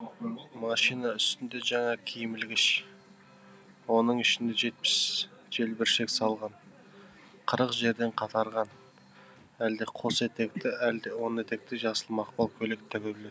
машина үстінде жаңа киімілгіш оның ішінде жетпіс желбіршек салған қырық жерден қатарған әлде қос етекті әлде он етекті жасыл мақпал көйлек тігулі